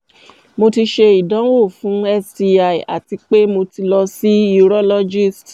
mo ti ṣe idanwo fun sti ati pe mo ti lọ si urologist